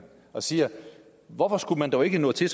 og siger hvorfor skulle man dog ikke nå til